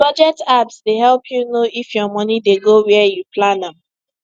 budget apps dey help you know if your money dey go where you plan am